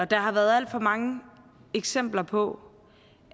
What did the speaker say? der har været alt for mange eksempler på